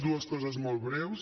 dues coses molt breus